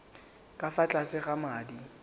ka fa tlase ga madi